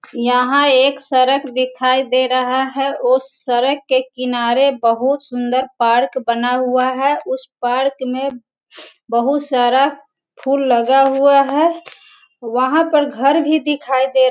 यहाँ एक सड़क दिखाई दे रहा है उस सड़क के किनारे बहुत सुन्दर पार्क बना हुआ है उस पार्क में बहुत सारा फूल लगा हुआ है वहाँ पर घर भी दिखाई दे र --